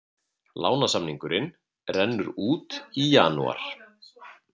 Lánssamningurinn rennur út í janúar